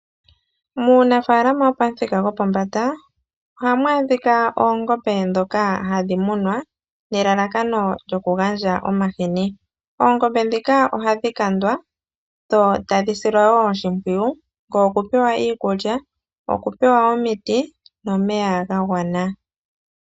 Muunafaalama wopamuthika gwopombanda ohamu adhika oongombe dhoka hadhi munwa nelalakano lyokugandja omahini, oongombe dhika ohadhi kandwa dho tadhi silwa wo oshipwiyu oku pewa iikulya, okupewa omiti, nomeya ga gwana.